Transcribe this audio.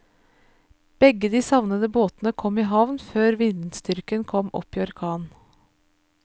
Begge de savnede båtene kom i havn før vindstyrken kom opp i orkan.